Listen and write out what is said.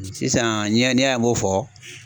Sisan ni y'a ni y'a ye n bo fɔ